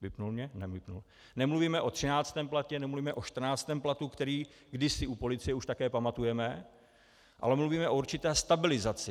Nemluvíme o 13. platu, nemluvíme o 14. platu, který kdysi u policie už také pamatujeme, ale mluvíme o určité stabilizaci.